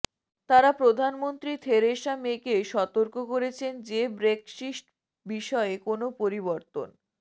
তাঁরা প্রধানমন্ত্রী থেরেসা মেকে সতর্ক করেছেন যে ব্রেক্সিট বিষয়ে কোনো পরিবর্তন